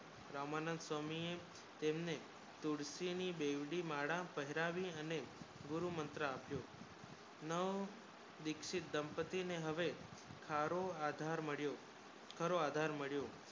રામાનંદ સ્વામી તેમને તુદાસિની બેવડી માદા પેહરાવી અને ગુરુ મંત્ર આપયો નવ દીક્ષિત દાંપતી ને હવે થારો આધાર માલ્યો થારો આધાર માલ્યો